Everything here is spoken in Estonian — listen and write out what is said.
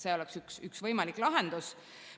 See oleks üks võimalikke lahendusi.